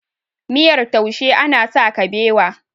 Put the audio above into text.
miyar taushe ana sa kabewa